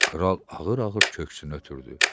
Kral ağır-ağır köksünü ötürdü.